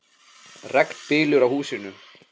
Regn bylur á húsinu.